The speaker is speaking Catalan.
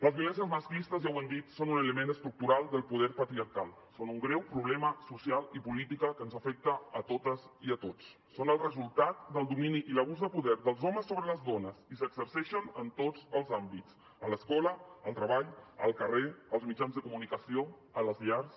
les violències masclistes ja ho hem dit són un element estructural del poder patriarcal són un greu problema social i polític que ens afecta a totes i a tots són el resultat del domini i l’abús de poder dels homes sobre les dones i s’exerceixen en tots els àmbits a l’escola al treball al carrer als mitjans de comunicació a les llars